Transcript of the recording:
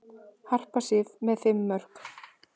Harpa Sif með fimm mörk